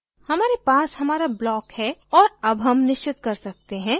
हमारे पास हमारा block है और अब हम निश्चत कर सकते हैं कि इसे कहाँ रखना है